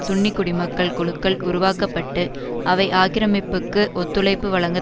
சுன்னி குடிமக்கள் குழுக்கள் உருவாக்க பட்டு அவை ஆக்கிரமிப்புக்கு ஒத்துழைப்பு வழங்க